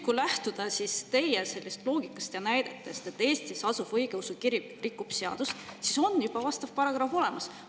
Kui lähtuda teie loogikast ja näidetest, et Eestis Vene Õigeusu Kirik rikub seadust, siis on juba vastav paragrahv olemas.